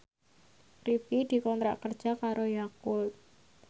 Rifqi dikontrak kerja karo Yakult